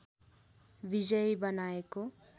विजयी बनाएको